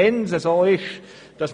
Wenn es so ist,